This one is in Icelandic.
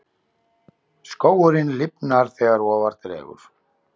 Skógurinn lifnar þegar ofar dregur.